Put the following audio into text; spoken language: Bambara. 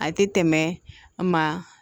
A tɛ tɛmɛ maa